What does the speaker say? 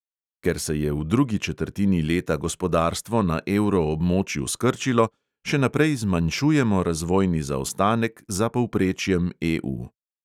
Ker se je v drugi četrtini leta gospodarstvo na evroobmočju skrčilo, še naprej zmanjšujemo razvojni zaostanek za povprečjem EU.